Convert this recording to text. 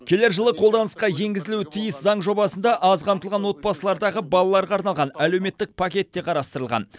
келер жылы қолданысқа енгізілуі тиіс заң жобасында аз қамтылған отбасылардағы балаларға арналған әлемуеттік пакет те қарастырылған